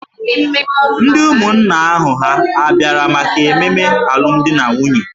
Ndị ụmụnna ahụ hà abịara maka ememe alụmdi na nwunye?